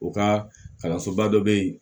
U ka kalansoba dɔ bɛ yen